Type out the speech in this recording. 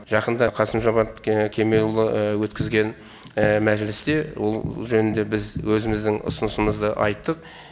жақында қасым жомарт кемелұлы өткізген мәжілісте ол жөнінде біз өзіміздің ұсынысымызды айттық